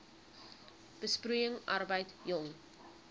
besproeiing arbeid jong